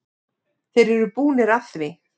Þeir eru búnir að því.